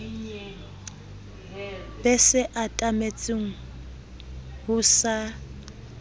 be se atametseng ho sa